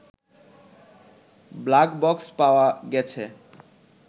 black box পাওয়া গেছে